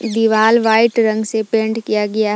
दीवाल व्हाइट रंग से पेंट किया गया।